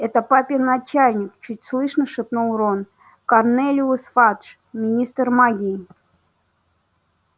это папин начальник чуть слышно шепнул рон корнелиус фадж министр магии